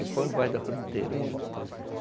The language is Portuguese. E põe embaixo da fruteira.